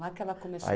Lá que ela começou. Aí